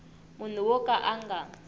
munhu wo ka a nga